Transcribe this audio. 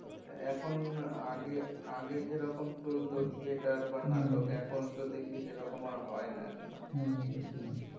এখন আগে আগে যেরকম চলত theater বা নাটক এখন তো দেখি ওরকম আর হয় না এখন আর হম হম